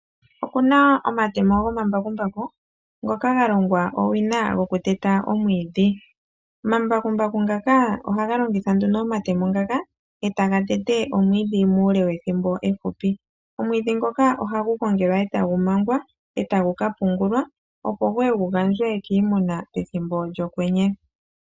Okuna omatemo gomambakumbaku ngoka ga longwa owina gokuteta omwiidhi. Omambakumbaku ngaka ohaga longitha nduno omatemo ngaka e taga tete omwiidhi muule wethimbo efupi. Omwiidhi ngoka ohagu gongelwa e tagu mangwa e tagu ka pungulwa, opo gu ye gu gandjwe kiimuna pethimbo lyokwenye.